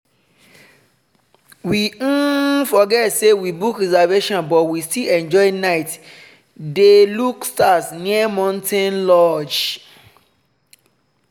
we um forget say we book reservation but we still enjoy night dey look stars near mountain lodge.